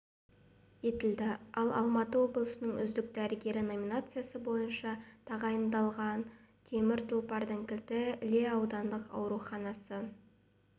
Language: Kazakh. етілді ал алматы облысының үздік дәрігері номинациясы бойынша тағайындалға темір тұлпардың кілті іле аудандық ауруханасы